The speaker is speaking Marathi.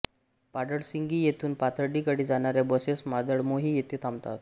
पाडळसिंगी येथून पाथर्डी कडे जाणाऱ्या बसेस मादळमोही येथे थांबतात